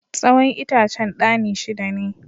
Tsawon itacen ɗani shida ne.